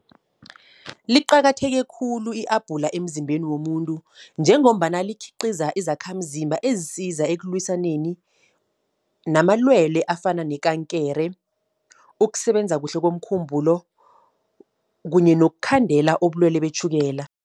Liqakatheke khulu i-apula emzimbeni womuntu, njengombana likhiqiza izakhamzimba, ezisiza ekulwisaneni namalwele afana nekankere. Ukusebenza kuhle komkhumbulo, kunye nokukhandela ubulwele betjhukela.